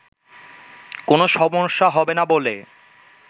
কোনো সমস্যা হবে না বলে